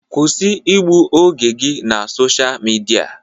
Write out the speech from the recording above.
Kwụsị igbu oge gị na Sosha Midia!